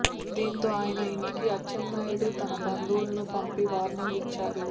దీంతో ఆయన ఇంటికి అచ్చెన్నాయుడు తన బంధువులను పంపి వార్నింగ్ ఇచ్చారు